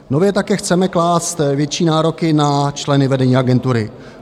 Nově také chceme klást větší nároky na členy vedení agentury.